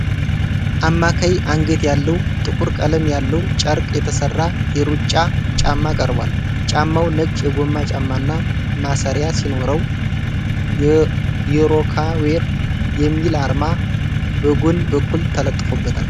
አማካይ አንገት ያለው፣ ጥቁር ቀለም ያለው ጨርቅ የተሰራ የሩጫ ጫማ ቀርቧል። ጫማው ነጭ የጎማ ጫማና ማሰሪያ ሲኖረው፣ የ"ሮካ ዌር" የሚል አርማ በጎን በኩል ተለጥፎበታል።